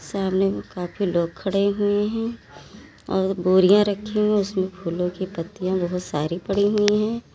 सामने काफी लोग खड़े हुए हैं और बोरियां रखी हुई है उसमें फूलों कि पत्तियां बहुत सारी पढ़ी हुईं हैं।